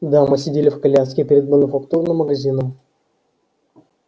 дамы сидели в коляске перед мануфактурным магазином